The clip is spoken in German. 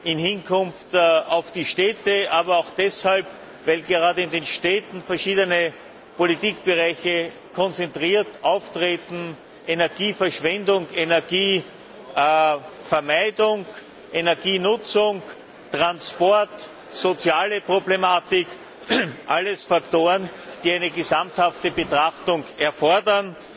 im Hinblick auf die Städte, aber auch deshalb, weil gerade in den Städten verschiedene Politikbereiche konzentriert auftreten Energieverschwendung, Energievermeidung, Energienutzung, Transport, soziale Problematik alles Faktoren, die eine gesamthafte Betrachtung erfordern.